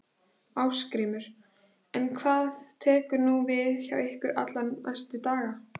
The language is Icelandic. Ásgrímur: En hvað tekur nú við hjá ykkur allra næstu daga?